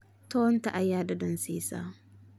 Toonta ayaa dhadhan siisa.